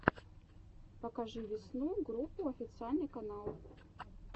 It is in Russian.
покажи весну группу официальный канал